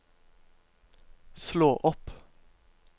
slå opp